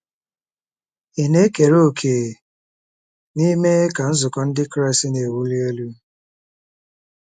Ị̀ na-ekere òkè n'ime ka Nzukọ Ndị Kraịst na-ewuli elu?